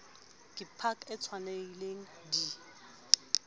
ke pac e tshwanelehileng di